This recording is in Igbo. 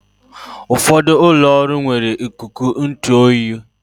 Ụfọdụ ụlọ ọrụ nwere ikuku ntụ oyi